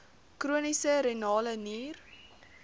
chroniese renale nier